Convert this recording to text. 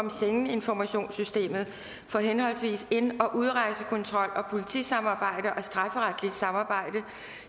schengeninformationssystemet på for henholdsvis ind og udrejsekontrol samt politisamarbejde og strafferetligt samarbejde